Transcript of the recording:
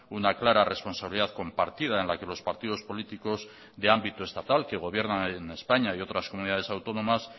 una clara responsabilidad compartida en la que los partidos políticos de ámbito estatal que gobiernan en españa y otras comunidades autónomas